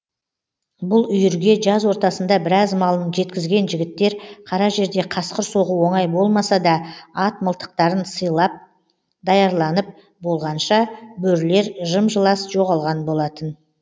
бұл үйірге жаз ортасында біраз малын жегізген жігіттер қара жерде қасқыр соғу оңай болмаса да ат мылтықтарын сайлап даярланып болғанша бөрілер жым жылас жоғалған болатын